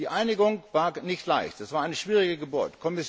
Die Einigung war nicht leicht, es war eine schwierige Geburt.